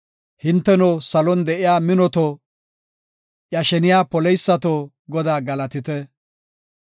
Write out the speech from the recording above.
Hinteno salon de7iya minoto, iya sheniya poleysato, Godaa galatite!